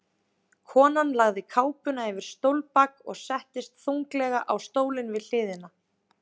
Konan lagði kápuna yfir stólbak og settist þunglega á stólinn við hliðina.